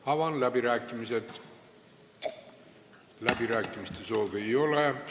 Avan läbirääkimised, kõnesoove ei ole.